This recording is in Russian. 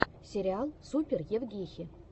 сериал супер евгехи